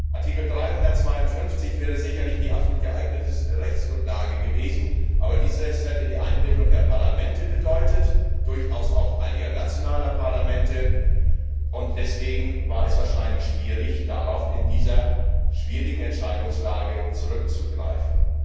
Artikel 352 wäre sicherlich die absolut geeignete Rechtsgrundlage gewesen, aber dies hätte die Einbindung der Parlamente bedeutet, durchaus auch einiger nationaler Parlamente, und deswegen war es wahrscheinlich schwierig, in dieser schwierigen Entscheidungslage darauf zurückzugreifen.